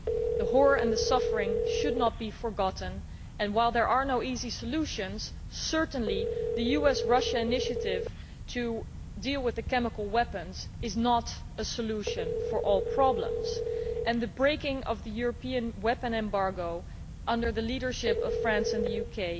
The horror and the suffering should not be forgotten, and while there are no easy solutions, certainly the US Russia initiative to deal with the chemical weapons is not a solution to all problems, nor was the breaking of the European weapons embargo, under the leadership of France and the UK.